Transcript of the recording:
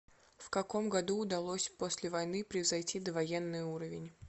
в каком году удалось после войны превзойти довоенный уровень